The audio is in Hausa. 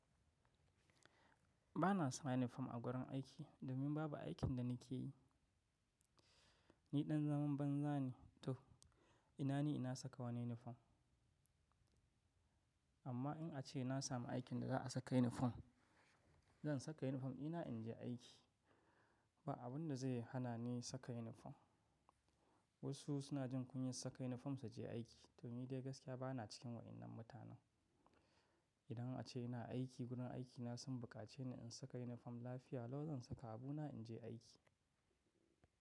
Ba na saka inifom a wurin aiki domin babu aikin da ni ke yi. Ni ɗan zaman banza ne to ina ni ina saka wani inifom. Amma in a ce na samu aikin da za a saka inifom, zan saka inifom ina in je aiki. Ba abun da zai hana ni saka inifom. Wasu suna jin kunyar saka inifom su je aiki to ni dai gaskiya ba na cikin waɗannan mutanen. Idan a ce ina aiki wurin aikina sun bukace ni in saka inifom lafiya, lau zan saka abu na in je aiki.